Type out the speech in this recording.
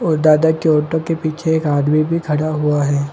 ओ दादा के ऑटो के पीछे एक आदमी भी खड़ा हुआ है ।